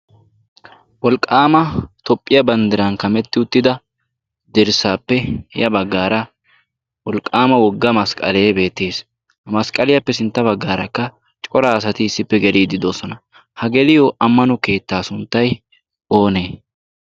wolqqaama tophphiyaa banddiran kametti uttida derssaappe ya baggaara wolqqaama wogga masqqalee beettes. ha masqqaliyaappe sintta baggaarakka cora asati issippe geliididoosona. ha geliyo ammano keettaa sunttai oonee?